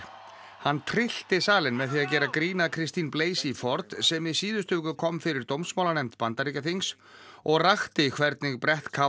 hann tryllti salinn með því að gera grín að Christine Blasey Ford sem í síðustu viku kom fyrir Bandaríkjaþings og rakti hvernig brett